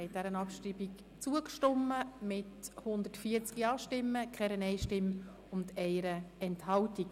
Sie haben der Abschreibung zugestimmt mit 140 Ja-, 0 Nein-Stimmen und 1 Enthaltung.